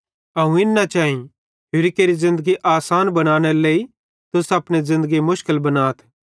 अवं इन न चैई होरि केरि ज़िन्दगी आसान बनानेरे लेइ तुस अपने ज़िन्दगी मुशकिल बनाथ